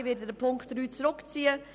Ich ziehe die Ziffer 3 zurück.